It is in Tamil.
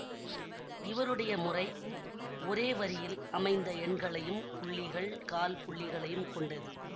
இவருடைய முறை ஒரே வரியில் அமைந்த எண்களையும் புள்ளிகள் கால்புள்ளிகளையும் கொண்டது